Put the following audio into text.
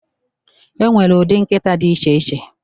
enwere ụdị nkịta dị iche iche